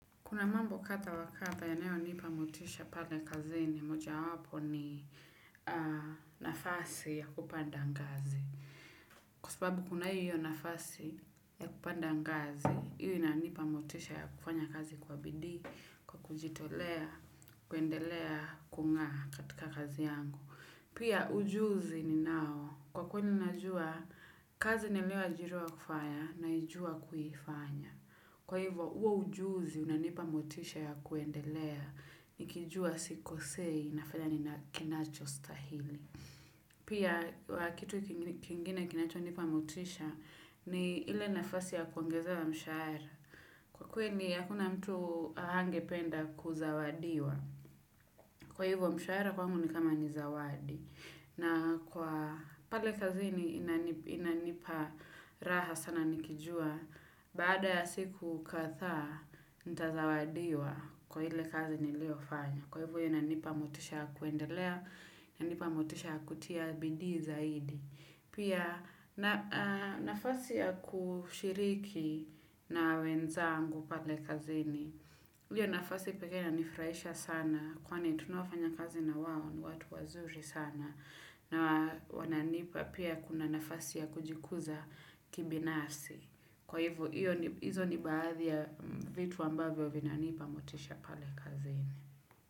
Kuna mambo kadha wakadha yanayonipa motisha pale kazini, moja wapo ni nafasi ya kupanda ngazi. Kwa sababu kuna hiyo nafasi ya kupanda ngazi, hiyo inanipa motisha ya kufanya kazi kwa bidhii, kwa kujitolea, kuendelea, kungaa katika kazi yangu. Pia ujuzi ni nao, kwa kweli ninajua, kazi niliyoajiriwa kufaya naijua kuifanya. Kwa hivyo, huo ujuzi unanipa motisha ya kuendelea, nikijua sikosei ninafanya kinacho stahili. Pia, kitu kingine kinachonipa motisha ni ile nafasi ya kuongezewa mshahara. Kwa kweli, hakuna mtu hangependa kuzawadiwa. Kwa hivyo, mshahara kwangu ni kama nizawadi. Na kwa pale kazini inanipa raha sana nikijua baada ya siku kadhaa, nitazawadiwa kwa ile kazi nilio fanya. Kwa hivyo inanipa motisha ya kuendelea, inanipa motisha ya kutia bidhii zaidi. Pia na nafasi ya kushiriki na wenzangu pale kazini, hiyo nafasi pekee inanifurahisha sana kwani ni tunaofanya kazi na wao ni watu wazuri sana. Na wananipa pia kuna nafasi ya kujikuza kibinafsi. Kwa hivyo, hiyo ni hizo ni baadhi ya vitu ambavyo vinanipa motisha pale kazini.